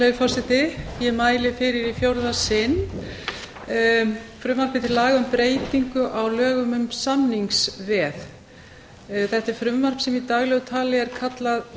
virðulegi forseti ég mæli fyrir í fjórða sinn frumvarpi til laga um breytingu á lögum um samningsveð þetta er frumvarp sem í daglegu tali er kallað